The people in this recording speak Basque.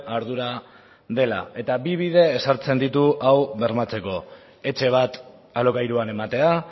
ardura dela eta bi bide ezartzen ditu hau bermatzeko etxe bat alokairuan ematea